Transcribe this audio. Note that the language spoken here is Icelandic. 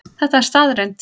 Þetta er staðreynd